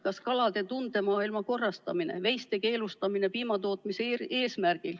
Kas kalade tundemaailma korrastamine, veiste piimatootmise eesmärgil pidamise keelustamine?